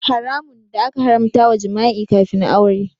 Haramun da aka haramta wa jima'i kafin aure.